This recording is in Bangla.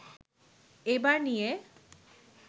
এবার নিয়ে